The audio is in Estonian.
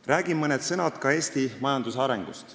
Räägin mõne sõna Eesti majanduse arengust.